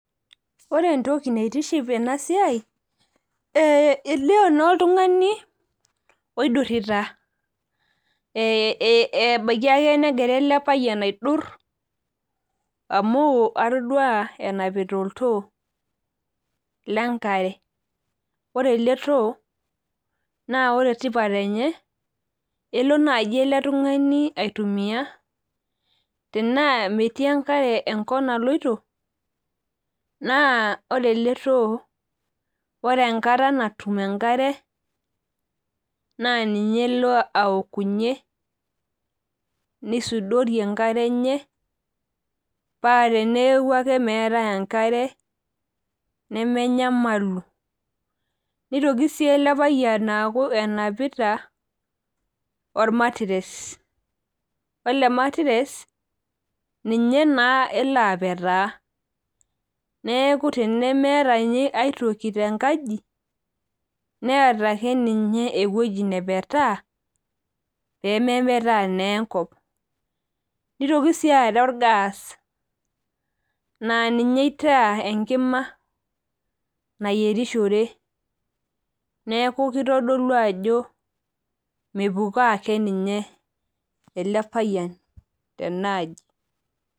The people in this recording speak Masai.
Ore entoki naitiship ena siai, elio naa oltung'ani oidurita ebaiki ake negira ele payian aidur amu adolita enapita oltoo le enkare. Ore ele tooo, naa ore tipat enye ele naaji ele tung'ani aitumiya, tanaa metii enkare enkop naloito, naa ore ele too ore enkata natum enkare, naa ninye elo aoukunye paa taanaa elo ake neaku meatai enkare, nemenyamalu. Neitoki sii ele payian aaku enapita olmatiress, ore ematiress, ninye naa elo apetaa, neaku tenemeata ninye aitoki tenkaji, neata ake ninye ewueji napetaa, pemepetaa naa enkop. Neitoki sii aatau gas naa ninye eitaa enkima, nayierishore, neaku keitodolu ajo mepukoo ake ninye ele payian tenaaji.